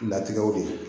Latigɛw de ye